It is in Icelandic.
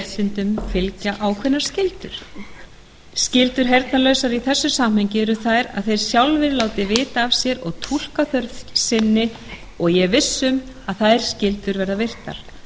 réttindum fylgja ákveðnar skyldur skyldur heyrnarlausra í þessu samhengi eru þær að þeir sjálfir láti vita af sér og túlkaþörf sinni og ég er viss um að þær skyldur verða virtar